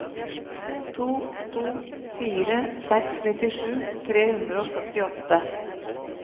to to fire seks nittisju tre hundre og førtiåtte